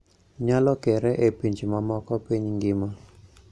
Nyalo kere e pinje mamoko piny ngima